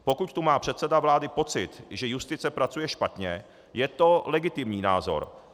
Pokud tu má předseda vlády pocit, že justice pracuje špatně, je to legitimní názor.